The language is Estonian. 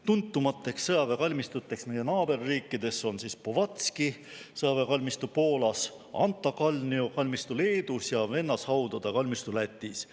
Tuntumateks sõjaväekalmistuteks meie naaberriikides on Powązki sõjaväekalmistu Poolas, Antakalnise kalmistu Leedus ja vennashaudade kalmistu Lätis.